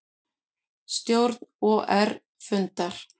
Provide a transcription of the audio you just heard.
Stjórn OR fundar